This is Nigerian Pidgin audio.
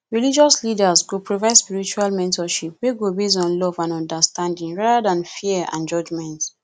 religious leaders go provide spiritual mentorship wey go base on love and understanding rather than fear and judgment